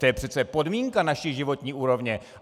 To je přece podmínka naší životní úrovně.